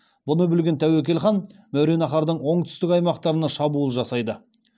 бұны білген тәуекел хан мәуереннахрдың оңтүстік аймақтарына шабуыл жасайды